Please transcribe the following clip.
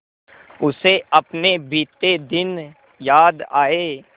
उसे अपने बीते दिन याद आए